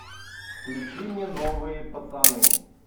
включи мне новые пацаны